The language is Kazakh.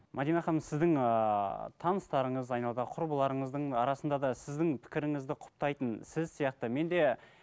мәдина ханым сіздің ыыы таныстарыңыз айналадағы құрбыларыңыздың арасында да сіздің пікіріңізді құптайтын сіз сияқты мен де